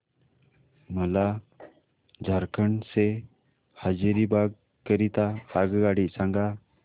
मला झारखंड से हजारीबाग करीता आगगाडी सांगा